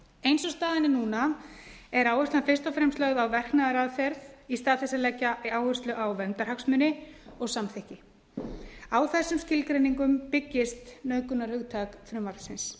eins og staðan er núna er áherslan fyrst og fremst lögð á verknaðaraðferð í stað þess að leggja áherslu á verndarhagsmuni og samþykki á þessum skilgreiningum byggist nauðgunarhugtak frumvarpsins